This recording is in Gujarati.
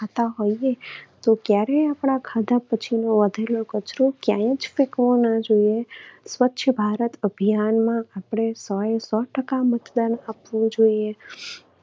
ખાતા હોઈએ તો ક્યારેય આપણા ખાધા પછીનો વધેલો કચરોક્યાંય જ ફેંકવો ના જોઈએ. સ્વચ્છ ભારત અભિયાનમાં આપણે સોએ સો ટકા મતદાન આપવું જોઈએ.